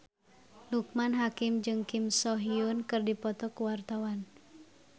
Loekman Hakim jeung Kim So Hyun keur dipoto ku wartawan